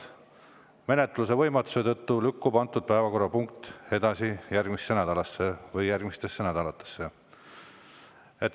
Menetluse võimatuse tõttu lükkub antud päevakorrapunkt edasi järgmisesse nädalasse või mõnda järgmisesse nädalasse.